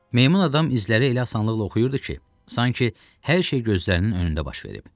Meymun adam izləri elə asanlıqla oxuyurdu ki, sanki hər şey gözlərinin önündə baş verib.